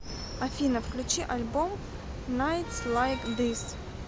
афина включи альбом найтс лайк зис